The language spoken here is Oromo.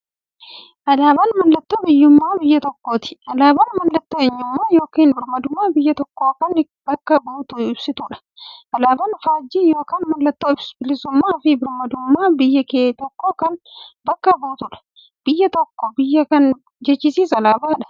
Alaaban mallattoo biyyuummaa biyya tokkooti. Alaabaan mallattoo eenyummaa yookiin birmaadummaa biyya tokkoo kan bakka buutuuf ibsituudha. Alaaban faajjii yookiin maallattoo bilisuummaafi birmaadummaa biyya tokkoo kan bakka buutuudha. Biyya tokko biyya kan jechisisuu alaabadha.